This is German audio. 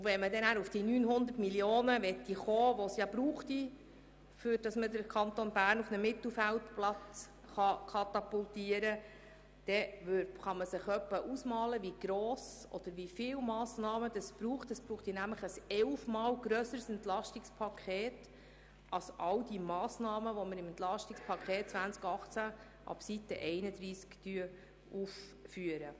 Wenn man die rund 900 Mio. Franken erreichen wollte, die nötig wären, um den Kanton auf einen Platz im Mittelfeld zu katapultieren, bräuchte es ein EP, das elfmal grösser wäre als all die Massnahmen, die wir im EP 2018 ab Seite 31 aufführen.